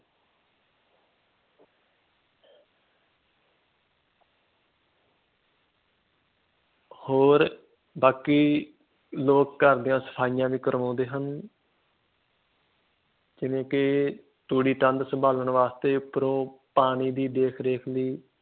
ਹੋਰ ਬਾਕੀ ਲੋਕ ਘਰ ਦੀਆਂ ਸਫਾਈਆਂ ਵੀ ਕਰਵੋਂਦੇ ਹਨ ਜਿਵੇਂ ਕੇ ਲੋਕੀ ਤੂੜੀ ਤੰਦ ਸੰਬਾਲਣ ਵਾਸਤੇ ਤੇ ਉਪਰੋ ਪਾਣੀ ਦੀ ਦੇਖਰੇਖ ਵੀ